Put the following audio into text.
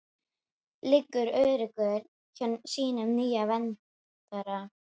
Liggur örugg hjá sínum nýja verndara.